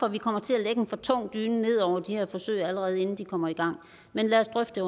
at vi kommer til at lægge en for tung dyne ned over de her forsøg allerede inden de kommer i gang men lad os drøfte